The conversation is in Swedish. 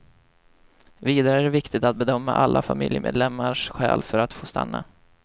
Vidare är det viktigt att bedöma alla familjemedlemmars skäl för att få stanna.